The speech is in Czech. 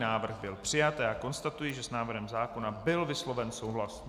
Návrh byl přijat a já konstatuji, že s návrhem zákona byl vysloven souhlas.